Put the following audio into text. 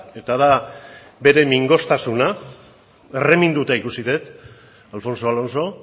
eta da bere mingostasuna erreminduta ikusi dut alfonso alonso